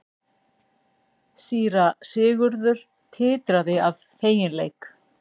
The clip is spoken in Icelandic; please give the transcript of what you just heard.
Síra Sigurður titraði af feginleik.